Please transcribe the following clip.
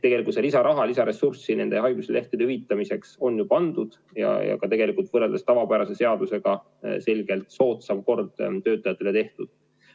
Tegelikult seda lisaraha, lisaressurssi haiguslehtede hüvitamiseks on ju eraldatud ja tegelikult on võrreldes tavapärase seadusega töötajatele tehtud selgelt soodsam kord.